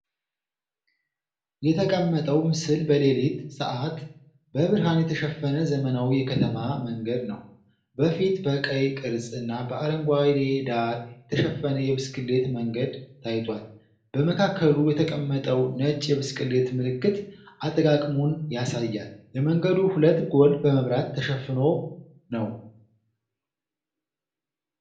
የተቀመጠው ምስል በሌሊት ሰዓት በብርሃን የተሸፈነ ዘመናዊ የከተማ መንገድ ነው። በፊት በቀይ ቅርጽ እና በአረንጓዴ ዳር የተሸፈነ የብስክሌት መንገድ ታይቷል፣ በመካከሉ የተቀመጠው ነጭ የብስክሌት ምልክት አጠቃቀሙን ያሳያል። የመንገዱ ሁለት ጎን በመብራት ተሸፍኖ ነው፡፡